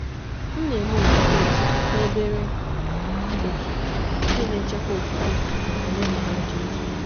M na-eme okwukwe m na um obere òtù nke na-echekwa okwukwe na omenala um dị otu.